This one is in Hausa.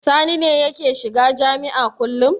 Sani ne yake shiga jami'a kullum.